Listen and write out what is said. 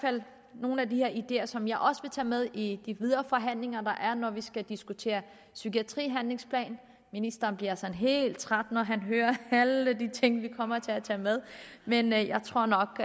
nogle af de ideer som jeg også vil tage med i de videre forhandlinger der er når vi skal diskutere psykiatrihandlingsplan ministeren bliver sådan helt træt når han hører alle de ting vi kommer til at tage med men jeg tror nok